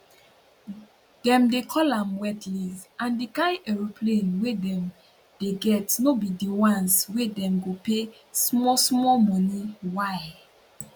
dem dey call am wet lease and di kain aeroplane wey dem dey get no be di ones wey dem go pay small small money why